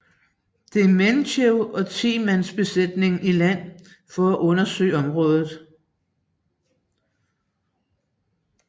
Dementjev og 10 mands besætning i land for at undersøge området